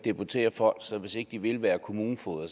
deportere folk så hvis ikke de vil være kommunefogeder